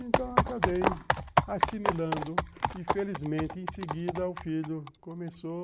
Então eu acabei assimilando e felizmente em seguida o filho começou